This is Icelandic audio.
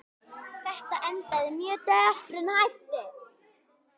Þetta endaði með döprum hætti.